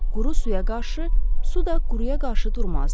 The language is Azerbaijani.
Quru suya qarşı, su da quruya qarşı durmazdı.